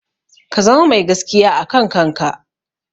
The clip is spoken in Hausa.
Ka zama mai gaskiya a kan kanka.